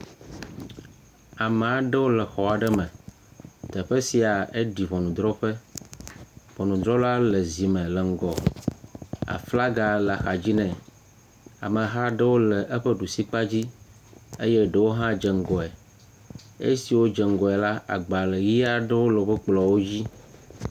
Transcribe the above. Ame aɖewo le xɔ aɖe me, teƒe sia eɖi ŋɔnudrɔ̃ƒe. Ŋɔnudrɔ̃la le zi me le ŋgɔ, aflaga le axa dzi nɛ. Ameha aɖewo le eƒe ɖusi kpa dzi eye eɖewo hã dze ŋgɔe. Esiwo dze ŋgɔe la, agbalẽʋi aeɖwo le woƒe kplɔwo dzi.